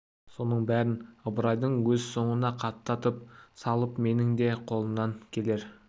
соның бәрін ыбырайдың өз соңына қаптатып салып менің де қолымнан келер